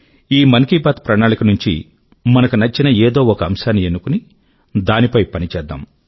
ఈ మన్ కీ బాత్ ప్రణాళిక నుండి మనకు నచ్చిన ఏదో ఒక అంశాన్ని ఎన్నుకుని దానిపై పని చేద్దాం